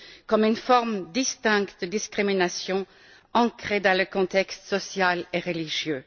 comme une forme distincte de discrimination ancrée dans le contexte social et religieux.